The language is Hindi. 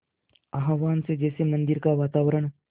आह्वान से जैसे मंदिर का वातावरण